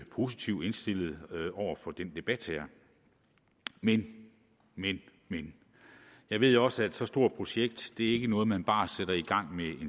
positivt indstillet over for den debat men men men jeg ved også at så stort et projekt ikke er noget man bare sætter i gang med